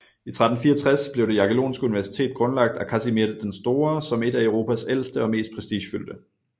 I 1364 blev Det jagellonske universitet grundlagt af Kasimir den Store som et af Europas ældste og mest prestigefyldte